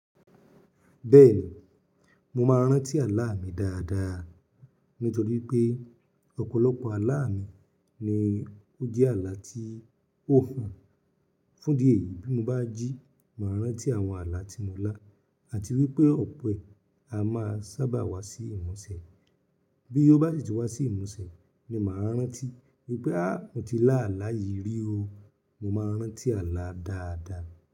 Bẹ́ẹ̀ni, mo máa ń rántí àlá mi dáadáa. Nítorí pé ọ̀pọ̀lọpọ̀ àlá mi ni ó jẹ́ àlá tí o fùn, fún ìdí èyí bí mo bá jí. Màá rántí àwọn àlá tí mo lá àti wípé òpe à máa sábà wá sí ìmúṣẹ. Bí ó bá ṣi ti wá sí ìmúṣẹ ni màá rántí wípé "ha, mo ti lá àlá yìí rí o". Mo máa ń rántí àlá dáadáa.